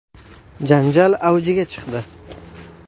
Janjal avjiga chiqdi.